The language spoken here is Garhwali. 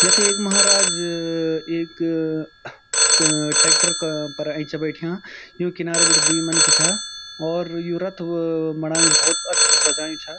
यख एक महाराज अ एक ट्रैक्टर का पर ऐंच बैठ्याँ यूँ किनारा बटी द्वि मनखी छा और यु रथ बणायुं भोत अछू सजायुं छा।